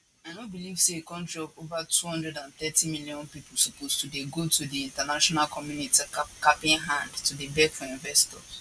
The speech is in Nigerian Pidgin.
i no believe say a kontri of ova 230 million pipo suppose to dey go to di international community capinhand to dey beg for investors